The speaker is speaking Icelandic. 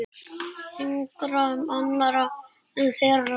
Engra annarra en þeirra.